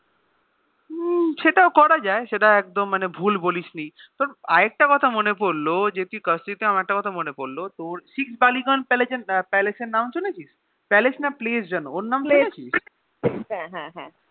হম সেটাও করা যায় সেটা আকদ ভুল বলিসনি তবে আর একটা কথা মনে পড়লো যে তুই sixth ballygaunge place এর নাম শুনেছিস Palace না Place যেন